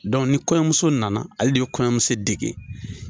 ni kɔɲɔmuso nana, ale de bɛ kɔɲɔmuso dege.